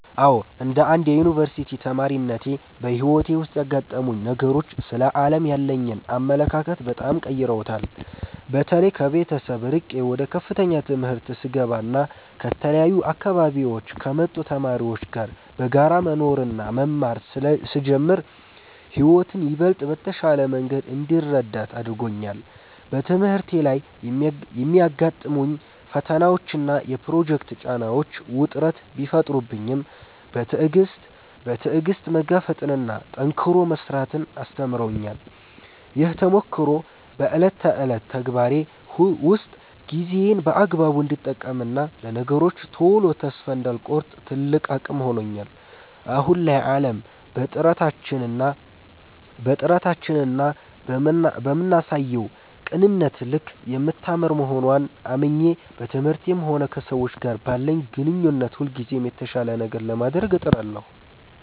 አዎ፣ እንደ አንድ የዩኒቨርሲቲ ተማሪነቴ በሕይወቴ ውስጥ ያጋጠሙኝ ነገሮች ስለ ዓለም ያለኝን አመለካከት በጣም ቀይረውታል። በተለይ ከቤተሰብ ርቄ ወደ ከፍተኛ ትምህርት ስገባና ከተለያዩ አካባቢዎች ከመጡ ተማሪዎች ጋር በጋራ መኖርና መማር ስጀምር ሕይወትን ይበልጥ በተሻለ መንገድ እንድረዳት አድርጎኛል። በትምህርቴ ላይ የሚያጋጥሙኝ ፈተናዎችና የፕሮጀክት ጫናዎች ውጥረት ቢፈጥሩብኝም፣ በትዕግሥት መጋፈጥንና ጠንክሮ መሥራትን አስተምረውኛል። ይህ ተሞክሮ በዕለት ተዕለት ተግባሬ ውስጥ ጊዜዬን በአግባቡ እንድጠቀምና ለነገሮች ቶሎ ተስፋ እንዳልቆርጥ ትልቅ አቅም ሆኖኛል። አሁን ላይ ዓለም በጥረታችንና በምናሳየው ቅንነት ልክ የምታምር መሆንዋን አምኜ፣ በትምህርቴም ሆነ ከሰዎች ጋር ባለኝ ግንኙነት ሁልጊዜም የተሻለ ነገር ለማድረግ እጥራለሁ።